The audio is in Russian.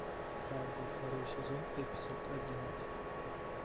фарго второй сезон эпизод одиннадцать